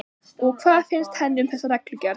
Og hvað finnst henni um þessa reglugerð?